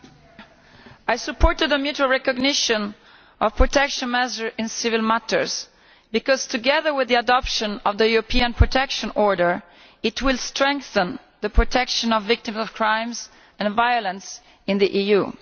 Madam President, I supported the mutual recognition of protection measures in civil matters because, together with the adoption of the European Protection Order, it will strengthen the protection of victims of crimes and violence in the EU.